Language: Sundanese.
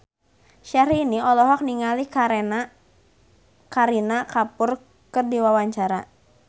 Syahrini olohok ningali Kareena Kapoor keur diwawancara